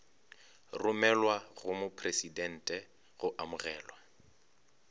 romelwa go mopresidente go amogelwa